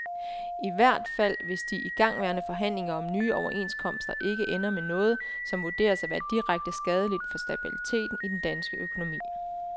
I hvert fald hvis de igangværende forhandlinger om nye overenskomster ikke ender med noget, som vurderes at være direkte skadeligt for stabiliteten i dansk økonomi.